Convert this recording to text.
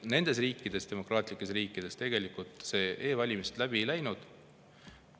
Nendes riikides, demokraatlikes riikides, tegelikult e-valimised läbi läinud.